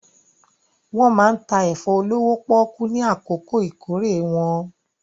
Wọ́n máa ń ta ẹ̀fọ́ olówó pọ́ọ́kú ní àkókò ìkórè wọn.